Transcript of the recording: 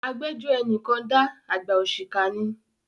Agbẹ́jọ́ ẹni kan dá, àgbà òṣìkà ni.